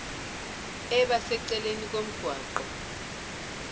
eba seceleni komgwaqo